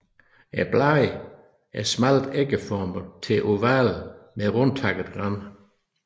Bladene er smalt ægformede til ovale med rundtakket rand